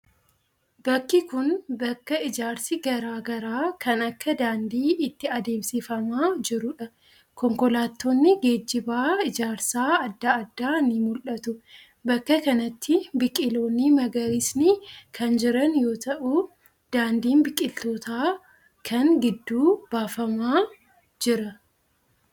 Bakki kun, bakka ijaarsi garaa garaa kan akka daandii itti adeemsifamaa jiruu dha. Konkolaattonni geejiba ijaarsaa adda addaa ni mul'atu. Bakka kanatti biqiloonni magariisni kan jiran yoo ta'u, daandiin biqiloota kana gidduu baafamaa jira.